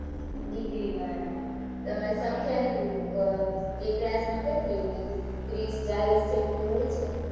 degree વાળા, , તમારે સંખ્યા કેટલી હોય, એક class માં કેટલી હોય? ત્રીસ ચાલીસ જેટલી હોય છે?